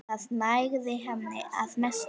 Það nægði henni að mestu.